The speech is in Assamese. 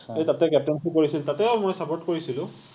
তাতে captaincy কৰিছিল তাতেও মই support কৰিছিলো